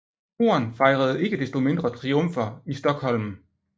Horn fejrede ikke desto mindre triumfer i Stokholm